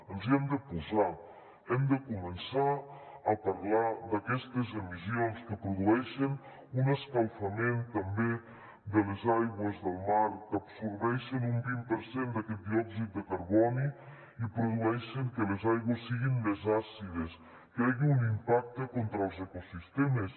ens hi hem de posar hem de començar a parlar d’aquestes emissions que produeixen un escalfament també de les aigües del mar que absorbeixen un vint per cent d’aquest diòxid de carboni i produeixen que les aigües siguin més àcides que hi hagi un impacte contra els ecosistemes